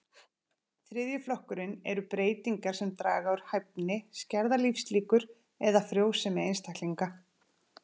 Þriðji flokkurinn eru breytingar sem draga úr hæfni, skerða lífslíkur eða frjósemi einstaklinga.